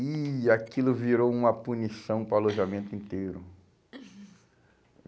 E aquilo virou uma punição para o alojamento inteiro.